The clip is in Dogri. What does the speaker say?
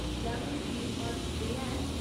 क्या कोई पीड़ मारू स्प्रेऽ है ?